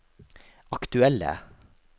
aktuelle